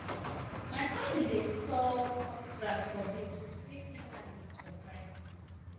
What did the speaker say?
my cousin dey store cut grass for bales to take feed animal for dry season